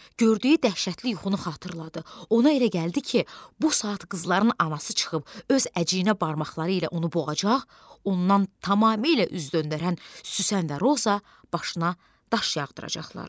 Gördüyü dəhşətli yuxunu xatırladı, ona elə gəldi ki, bu saat qızların anası çıxıb öz əciyinə barmaqları ilə onu boğacaq, ondan tamamilə üz döndərən Süsən və Roza başına daş yağdıracaqlar.